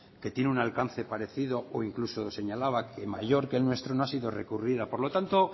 que tiene un alcance parecido e incluso señalaba que mayor que el nuestro no ha sido recurrida por lo tanto